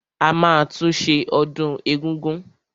A máa tún ṣe ọdún egúngún.